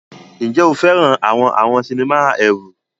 Ǹjẹ́ o fẹ́ràn àwọn àwọn sinimá ẹ̀rù?